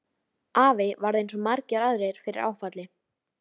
Afi varð eins og svo margir aðrir fyrir áfalli.